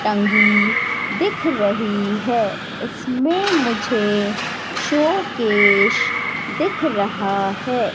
टंगी दिख रही है इसमें मुझे शो केश दिख रहा है।